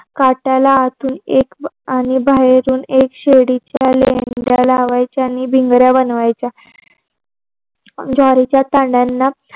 काट्याला आतून एक आणि बाहेरून एक शिडीच्या लेंड्या लावायच्या आणि भिंगऱ्या बनवायच्या झाडाच्या पानांना